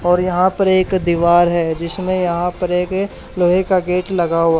और यहां पर एक दीवार है जिसमें यहां पर एक लोहे का गेट लगा हुआ--